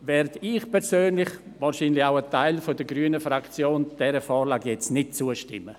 Deshalb werde ich und wahrscheinlich auch ein Teil der grünen Fraktion dieser Vorlage nicht zustimmen.